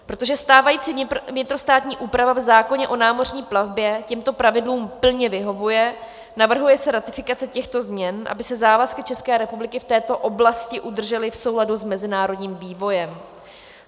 Protože stávající vnitrostátní úprava v zákoně o námořní plavbě těmto pravidlům plně vyhovuje, navrhuje se ratifikace těchto změn, aby se závazky České republiky v této oblasti udržely v souladu s mezinárodním vývojem.